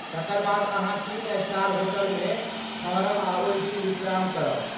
तकर बाद अहाँ तीन स्टार होटलमे ठहरब आ ओहि दिन विश्राम करब।